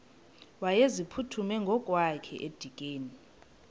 wayeziphuthume ngokwakhe edikeni